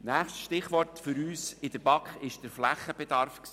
Das nächste Stichwort für uns in der BaK war der Flächenbedarf.